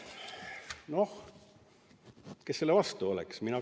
Kes ikka nende vastu oleks?